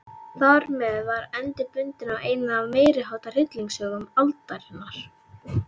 Þarmeð var endi bundinn á eina af meiriháttar hryllingssögum aldarinnar.